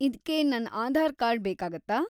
ಇದ್ಕೆ ನನ್ ಆಧಾರ್‌ ಕಾರ್ಡ್‌ ಬೇಕಾಗುತ್ತಾ?